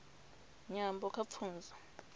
nyambo kha pfunzo